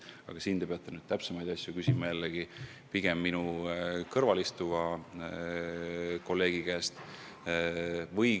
Aga selle kohta te peate täpsemalt küsima pigem minu kõrval istuva kolleegi käest.